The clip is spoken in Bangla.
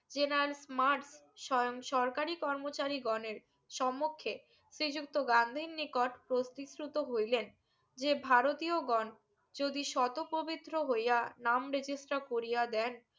জেনালস মার্ক স্বয়ং সরকারি কর্মচারি গনের সম্মুখে শ্রীযুক্ত গান্ধীর নিকট প্রসিসুতো হইলেন যে ভারতীয়গন যদি সতো পবিত্র হইয়া নাম register করিয়া দেন